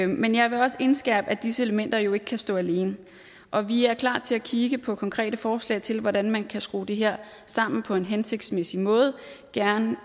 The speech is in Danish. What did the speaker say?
men jeg vil også indskærpe at disse elementer jo ikke kan stå alene og vi er klar til at kigge på konkrete forslag til hvordan man kan skrue det her sammen på en hensigtsmæssig måde gerne